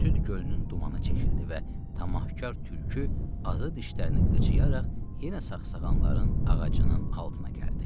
Süd gölünün dumanı çəkildi və tamahkar tülkü azı dişlərini qıcıyaraq yenə sağsağanların ağacının altına gəldi.